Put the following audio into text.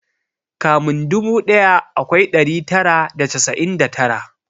Kamin dubu daya akwai dari tara da casa'in da tara